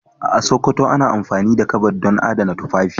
A Sokoto ana amfani da kabad don adana tufafi.